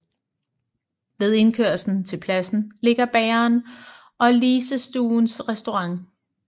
Ved indkørslen til pladsen ligger bageren og Lisestuens restaurant